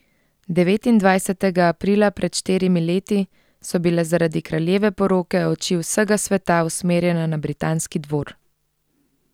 Devetindvajsetega aprila pred štirimi leti so bile zaradi kraljeve poroke oči vsega sveta usmerjene na britanski dvor.